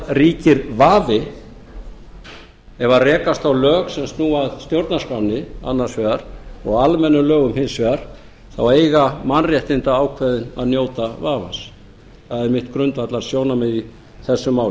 ríkir vafi ef rekast á lög sem snúa að stjórnarskránni annars vegar og almennum lögum hins vegar þá eiga mannréttindaákvæðin að njóta vafans það er mitt grundvallarsjónarmið í þessu